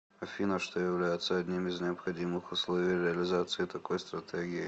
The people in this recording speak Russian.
афина что является одним из необходимых условий реализации такой стратегии